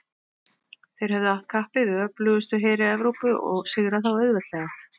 þeir höfðu att kappi við öflugustu heri evrópu og sigrað þá auðveldlega